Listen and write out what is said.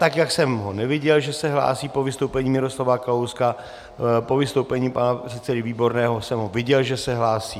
Tak jak jsem ho neviděl, že se hlásí po vystoupení Miroslava Kalouska, po vystoupení pana předsedy Výborného jsem ho viděl, že se hlásí.